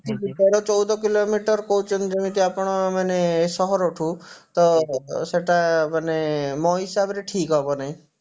ତେର ଚଉଦ kilometer କହୁଛନ୍ତି ଯେମିତି ଆପଣ ମାନେ ସହରଠୁ ତ ସେଇଟା ମାନେ ମୋ ହିସାବରେ ଠିକ ହବ ନାଇ